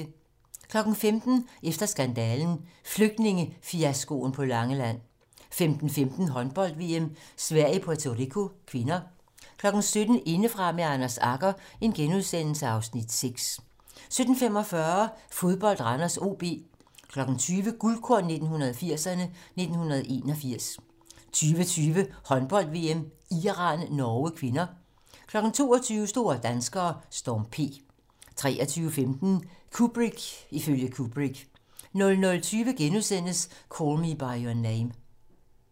15:00: Efter skandalen - Flygtningefiaskoen på Langeland 15:15: Håndbold: VM - Sverige-Puerto Rico (k) 17:00: Indefra med Anders Agger (Afs. 6)* 17:45: Fodbold: Randers-OB 20:00: Guldkorn 1980'erne: 1981 20:20: Håndbold: VM - Iran-Norge (k) 22:00: Store danskere - Storm P 23:15: Kubrick ifølge Kubrick 00:20: Call Me by Your Name *